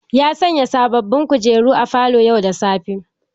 Ya sanya sababin kujeru a falo yau da safe